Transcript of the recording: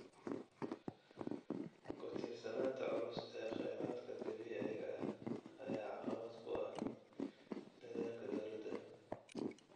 Ku tiirsanaanta culus ee kheyraadka dabiiciga ah ayaa caqabad ku ah dadaalka dowladda.